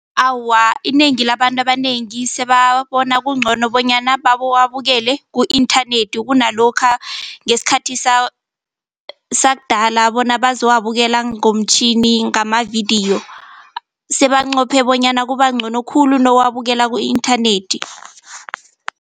Awa, inengi labantu abanengi sebabona kungcono bonyana babowabukele ku-inthanethi kunalokha ngesikhathi sakudala bona bazowabukela ngomtjhini ngamavidiyo sebanqope bonyana kubangcono khulu nowabukela ku-inthanethi.